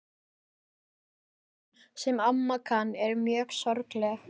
Sum ljóðin, sem amma kann, eru mjög sorgleg.